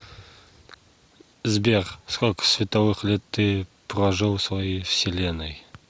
сбер сколько световых лет ты прожил в своей вселенной